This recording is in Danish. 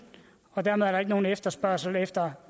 og dermed er der desværre ikke nogen efterspørgsel efter